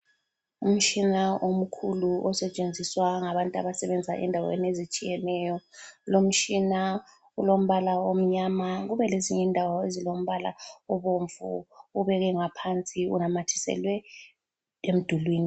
Umtshina omkhulu osetshenziswa ngabantu abasebenza endaweni ezitshiyeneyo. Kulomtshina olombala omnyama kubelezinye indawo ezilombala obomvu, ubekwe ngaphansi unamathiselwe emdulini.